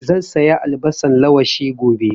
Zan saya albasan lawashi gobe